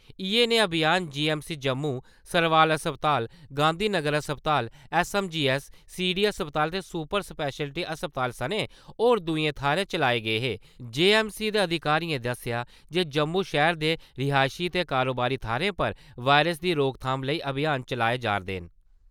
इयै नेह् अभियान G M C Jammu , Sarwal अस्पताल , गांधी नगर अस्पताल S M G S, C D अस्पताल ते सुपर स्पैशलिटी अस्पताल सनें होर दुए थाहरें चलाये गे हे | जो एम सी दे अधिकारियें दस्सेया जे जम्मू शैहर दे रिहायशी ते कारोबारी थाहरें पर वायरस दी रोकथाम लेई अभियान चलाए जारदे न ।